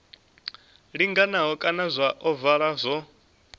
linganaho kana zwa ovala zwo